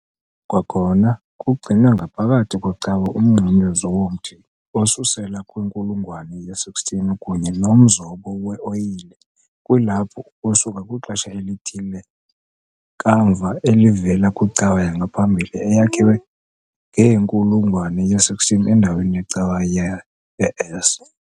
Kwakhona kugcinwe ngaphakathi kwecawa umnqamlezo womthi osusela kwinkulungwane ye-16 kunye nomzobo we-oyile kwilaphu, ukusuka kwixesha elithile kamva, elivela kwicawa yangaphambili eyakhiwe ngenkulungwane ye-16 endaweni yecawa ye-S.